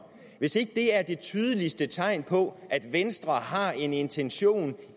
det er det tydeligste tegn på at venstre har en intention